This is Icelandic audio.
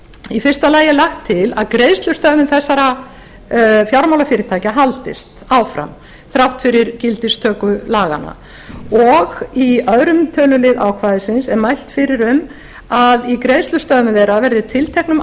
í fyrsta lagi er lagt til að greiðslustöðvun þessara fjármálafyrirtækja haldist áfram þrátt fyrir gildistöku laganna og í öðrum tölulið ákvæðisins er mælt fyrir um að í greiðslustöðvun þeirra verði tilteknum